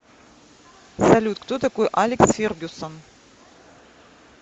салют кто такой алекс фергюсон